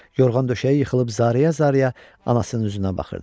Yorğan döşəyi yıxılıb zar-zar anasının üzünə baxırdı.